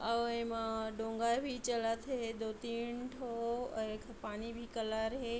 अउ एमा डोंगा भी चलत हे दो तीन ठो अ एक पानी भी कलर हे।